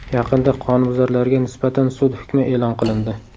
Yaqinda qonunbuzarlarga nisbatan sud hukmi e’lon qilindi.